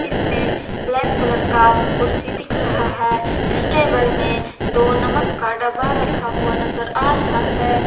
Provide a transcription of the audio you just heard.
इसमें black colour का कुर्सी दिख रहा है इस टेबल में दो नमक का डब्बा रखा हुआ नजर आ रहा है।